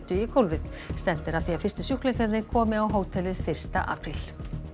í gólfið stefnt er að því að fyrstu sjúklingarnir komi á hótelið fyrsta apríl